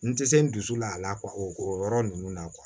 N tɛ se n dusu la a la o yɔrɔ ninnu na kuwa